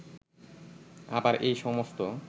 আবার এই সমস্ত